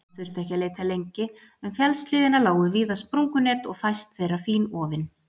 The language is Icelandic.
Hann þurfti ekki að leita lengi, um fjallshlíðina lágu víða sprungunet og fæst þeirra fínofin.